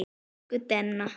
Elsku Denna.